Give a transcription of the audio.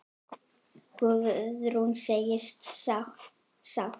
Guðrún segist sátt.